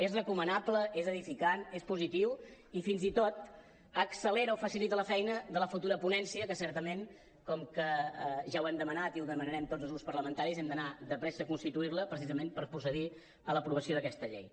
és recomanable és edificant és positiu i fins i tot accelera o facilita la feina de la futura ponència que certament com que ja ho hem demanat i ho demanarem tots els grups parlamentaris hem d’anar de pressa a constituir la precisament per procedir a l’aprovació d’aquesta llei